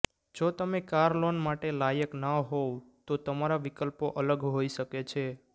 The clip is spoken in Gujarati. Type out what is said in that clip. જો તમે કાર લોન માટે લાયક ન હોવ તો તમારા વિકલ્પો અલગ હોઈ શકે છે